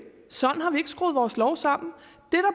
sådan har vi ikke skruet vores lov sammen